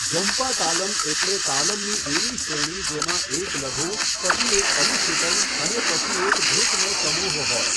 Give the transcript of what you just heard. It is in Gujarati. જંપા તાલમ એટલે તાલમની એવી શ્રેણી જેમાં એક લઘુ, પછી એક અનુશ્રુતમ અને પછી એક ધૃતનો સમૂહ હોય.